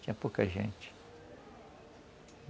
Tinha pouca gente.